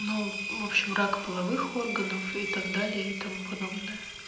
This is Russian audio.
ну в общем рак половых органов и так далее и тому подобное